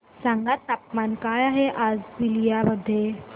सांगा तापमान काय आहे आज बलिया मध्ये